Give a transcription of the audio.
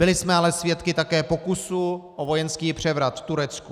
Byli jsme ale svědky také pokusu o vojenský převrat v Turecku.